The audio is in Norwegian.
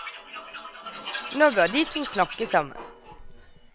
Nå bør de to snakke sammen.